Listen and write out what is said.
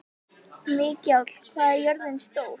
Mikjáll, hvað er jörðin stór?